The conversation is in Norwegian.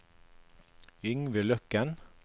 Yngve Løkken